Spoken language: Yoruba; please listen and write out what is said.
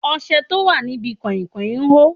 Ọṣẹ tó wà níbi kain kain hó.